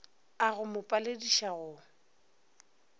a go mo palediša go